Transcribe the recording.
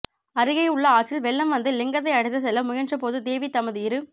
அருகேயுள்ள ஆற்றில் வெள்ளம் வந்து லிங்கத்தை அடித்துச் செல்ல முயன்றபோது தேவி தமது இரு